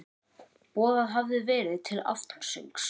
Boðað hafði verið til aftansöngs.